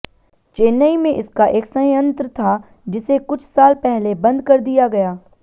चेन्नई में इसका एक संयंत्र था जिसे कुछ साल पहले बंद कर दिया गया